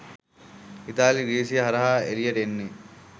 ඉතාලිය ග්‍රීසිය හරහා එළියට එන්නේ